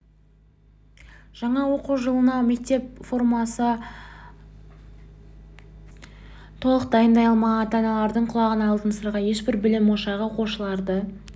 жаңа оқу жылына мектеп формасын толық дайындай алмаған ата-аналардың құлағына алтын сырға ешбір білім ошағы оқушыларды